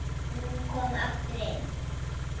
Hún kom aftur inn